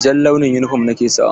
Jan launin yunifom ni ke sawa.